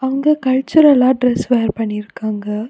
இங்க கல்ச்சுரல்லா dress wear பண்ணிருக்காங்க.